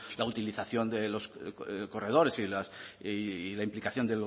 la utilización de los corredores y la implicación